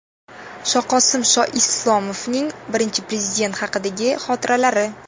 Shoqosim Shoislomovning Birinchi Prezident haqidagi xotiralari .